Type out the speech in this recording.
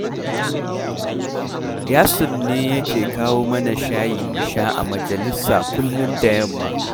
Yasir ne yake kawo mana shayi mu sha a majalisa kullum da yamma